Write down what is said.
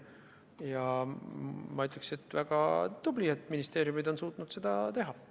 Ja ma ütleksin, et ministeeriumid on väga tublid, et nad on suutnud seda teha.